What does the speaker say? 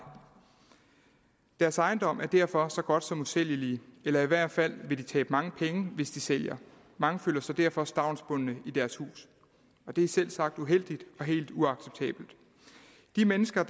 deres ejendom er derfor så godt som usælgelig eller i hvert fald vil de tabe mange penge hvis de sælger mange føler sig derfor stavnsbundne i deres hus og det er selvsagt uheldigt og helt uacceptabelt de mennesker